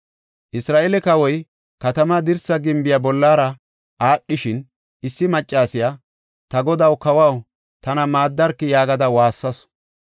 Isra7eele kawoy katamaa dirsa gimbiya bollara aadhishin, issi maccasiya, “Ta godaw, kawaw, tana maaddarki” yaagada waassasu.